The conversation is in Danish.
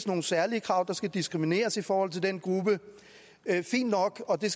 nogle særlige krav der skal diskrimineres i forhold til den gruppe fint nok og det